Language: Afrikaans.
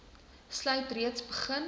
insluit reeds begin